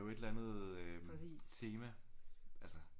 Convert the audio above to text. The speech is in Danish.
Et eller andet tema altså